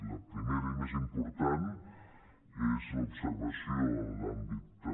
la primera i més important és l’observació en l’àmbit de